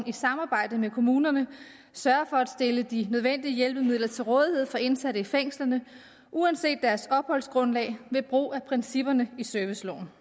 i samarbejde med kommunerne sørger for at stille de nødvendige hjælpemidler til rådighed for indsatte i fængslerne uanset deres opholdsgrundlag ved brug af principperne i serviceloven